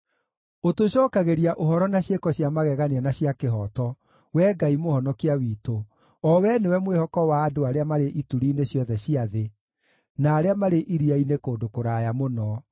Ũtũcookagĩria ũhoro na ciĩko cia magegania na cia kĩhooto, Wee Ngai Mũhonokia witũ, o Wee nĩwe mwĩhoko wa andũ arĩa marĩ ituri-inĩ ciothe cia thĩ, na arĩa marĩ iria-inĩ kũndũ kũraya mũno,